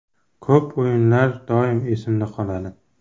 Ko‘p o‘yinlar doim esimda qoladi.